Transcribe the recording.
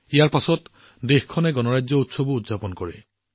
ইয়াৰ পিছত দেশখনে গণতন্ত্ৰ দিৱসো উদযাপন কৰিছে